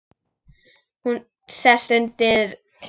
Hún sest undir tréð.